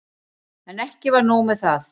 En ekki var nóg með það.